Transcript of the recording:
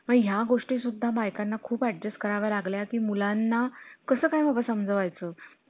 त्यांनी एकदा इकडं दिलं ना पैसे